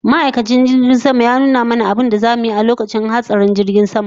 Ma'aikacin jirgin sama ya nuna mana abinda zamu yi a lokacin hatsarin jirgin sama